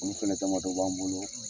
Olu fɛnɛ damadɔ b'an bolo.